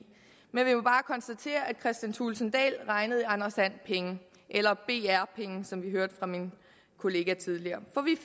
men vi må bare konstatere at herre kristian thulesen dahl regnede i anders and penge eller br penge som vi hørte fra min kollega tidligere for vi